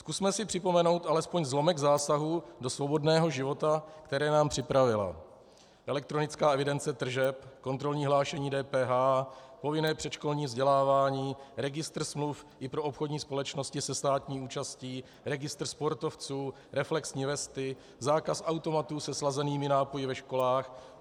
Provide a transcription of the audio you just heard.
Zkusme si připomenout alespoň zlomek zásahů do svobodného života, které nám připravila elektronická evidence tržeb, kontrolní hlášení DPH, povinné předškolní vzdělávání, registr smluv i pro obchodní společnosti se státní účastí, registr sportovců, reflexní vesty, zákaz automatů se slazenými nápoji ve školách.